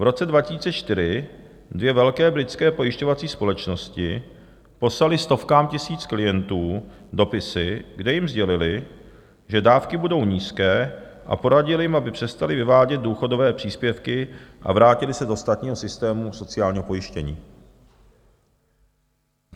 V roce 2004 dvě velké britské pojišťovací společnosti poslaly stovkám tisíc klientů dopisy, kde jim sdělily, že dávky budou nízké, a poradily jim, aby přestali vyvádět důchodové příspěvky a vrátili se do státního systému sociálního pojištění.